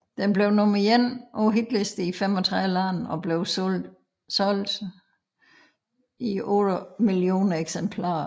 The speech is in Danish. Den blev nummer ét på hitlisterne i 35 lande og blev solgt i 8 millioner eksemplarer